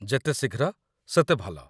ଯେତେ ଶୀଘ୍ର, ସେତେ ଭଲ।